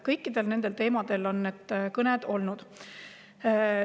Sellistel teemadel on need kõned olnud.